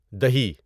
دہی